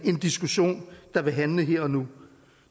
diskussion der ville handle om her og nu